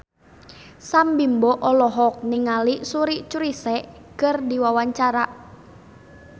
Sam Bimbo olohok ningali Suri Cruise keur diwawancara